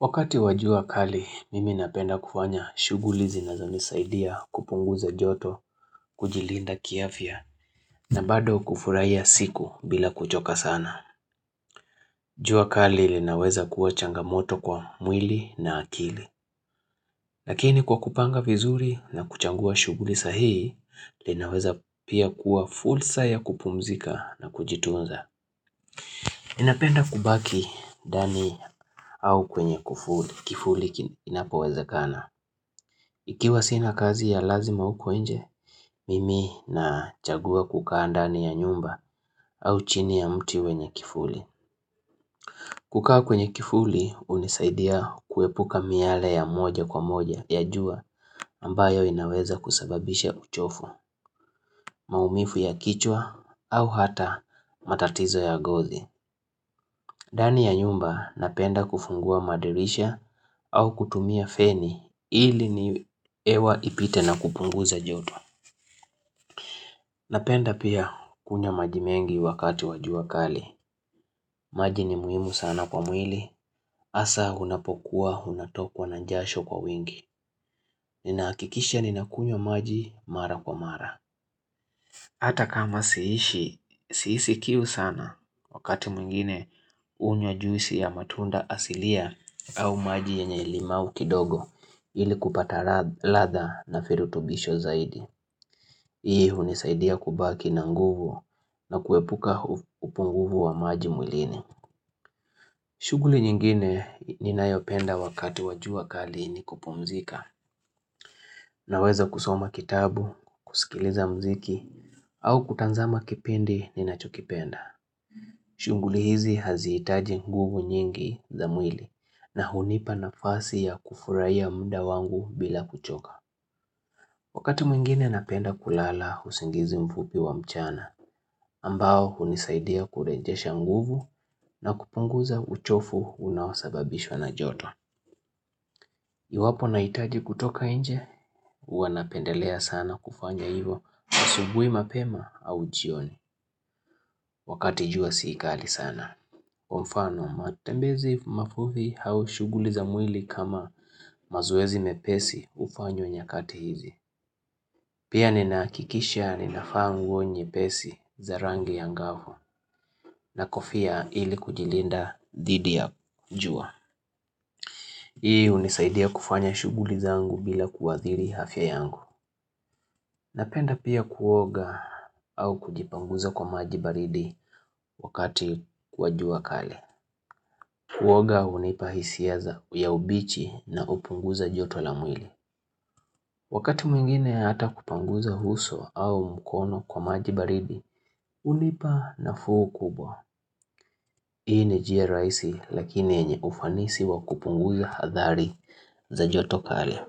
Wakati wa jua kali mimi napenda kufanya shughuli zinazonisaidia kupunguza joto, kujilinda kiafya na bado kufuraia siku bila kuchoka sana. Jua kali linaweza kuwa changamoto kwa mwili na akili. Lakini kwa kupanga vizuri na kuchangua shughuli sahihi linaweza pia kuwa fulsa ya kupumzika na kujitunza. Inapenda kubaki dani au kwenye kufuli kifuli kinapowezakana. Ikiwa sina kazi ya lazima uko nje, mimi nachagua kukaa ndani ya nyumba au chini ya mti wenye kifuli. Kukaa kwenye kifuli unisaidia kuepuka miale ya moja kwa moja ya jua ambayo inaweza kusababisha uchofu, maumifu ya kichwa au hata matatizo ya gozi. Dani ya nyumba napenda kufungua madirisha au kutumia feni ili ni ewa ipite na kupunguza joto. Napenda pia kunywa maji mengi wakati wa jua kali. Maji ni muhimu sana kwa mwili. Asa unapokuwa, unatokwa na njasho kwa wingi. Ninaakikisha ninakunywa maji mara kwa mara. Hata kama siishi, siisi kiu sana wakati mwingine unywa juisi ya matunda asilia au maji yenye limau kidogo ili kupata ladha na firutubisho zaidi. Hii hunisaidia kubaki na nguvu na kuepuka upunguvu wa maji mwilini. Shughuli nyingine ninayopenda wakati wa jua kali ni kupumzika naweza kusoma kitabu, kusikiliza mziki au kutanzama kipindi ninachokipenda. Shughuli hizi hazihitaji nguvu nyingi za mwili na hunipa nafasi ya kufuraia mda wangu bila kuchoka. Wakati mwingine napenda kulala usingizi mfupi wa mchana ambao hunisaidia kurejesha nguvu na kupunguza uchofu unaosababishwa na joto. Iwapo nahitaji kutoka nje, huwa napendelea sana kufanya hivo asubui mapema au jioni wakati jua si kali sana. Kwabmfano, matembezi mafufi hau shughuli za mwili kama mazoezi mepesi hufanywa nyakati hizi. Pia ninaakikisha ninafaa nguo nyepesi za rangi ya ngafu na kofia ili kujilinda dhidi ya jua. Hii hunisaidia kufanya shughuli zangu bila kuathiri hafya yangu. Napenda pia kuoga au kujipanguza kwa maji baridi wakati wa jua kali. Kuoga hunipa hisia za ya ubichi na upunguza joto la mwili. Wakati mwingine hata kupanguza huso au mkono kwa maji baridi, unipa nafuu kubwa. Hii ni jia raisi lakini enye ufanisi wa kupunguza hadhari za joto kali.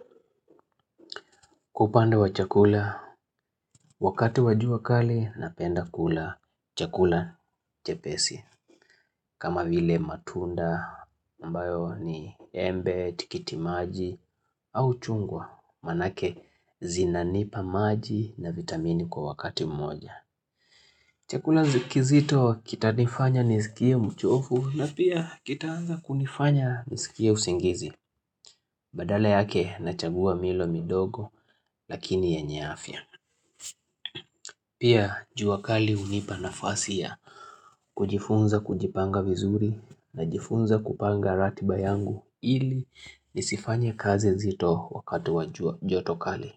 Kwa upande wa chakula, wakati wa jua kali napenda kula chakula chepesi, kama vile matunda, ambayo ni embe, tikiti maji, au chungwa, maanake zinanipa maji na vitamini kwa wakati mmoja. Chakula zi kizito kitanifanya nisikie mchofu na pia kitaanza kunifanya nisikie usingizi, badala yake nachagua milo midogo lakini yenye afya. Pia juabkali hunipa nafasi ya kujifunza kujipanga vizuri najifunza kupanga ratiba yangu ili nisifanye kazi zito wakati wa jua joto kali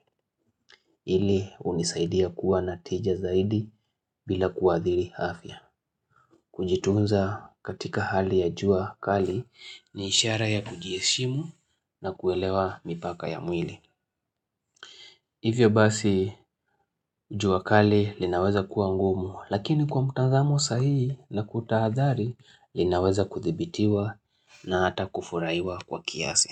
ili hunisaidia kuwa na tija zaidi bila kuathiri hafya Kujitunza katika hali ya jua kali ni ishara ya kujieshimu na kuelewa mipaka ya mwili Hivyo basi jua kali linaweza kuwa ngumu lakini kwa mtanzamo sahii na kutahadhari linaweza kuthibitiwa na hata kufuraiwa kwa kiasi.